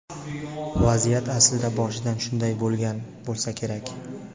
Vaziyat aslida boshidan shunday bo‘lgan bo‘lsa kerak.